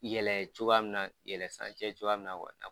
Yɛlɛ cogoya minna yɛlɛ san cɛ cogoya minna kɔni